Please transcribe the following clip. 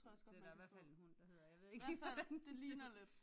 Det er da i hvert fald en hund der hedder jeg ved ikke lige hvordan den